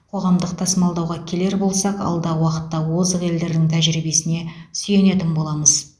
қоғамдық тасымалдауға келер болсақ алдағы уақытта озық елдердің тәжірибесіне сүйенетін боламыз